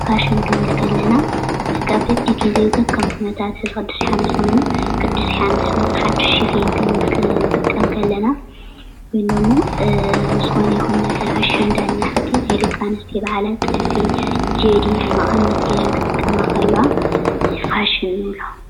ፋሽን ክንብል ከለና በቢጊዜ ከከም ኩነታቱ ሕዚ ቅዱስ የሓንስ እንተኾይኑ ቅዱስ የሓንስ ሓዱሽ ሽፈን ክንጥቀም እንከለና ወይም ደሞ ኣብ ዝኾነ ይኹን ነገር ኣሸንዳ እንሄ ሓቀይ ናይ ደቂ ኣንስትዮ በዓላት ጥልፊ ፣ ጀዲድ፣ መቐነት ገይረን ክጥቀማ ከለዋ ፋሽን ንብሎ፡፡